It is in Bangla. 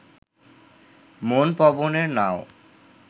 মন পবনের নাও